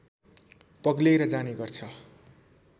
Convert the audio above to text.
पग्लेर जाने गर्छ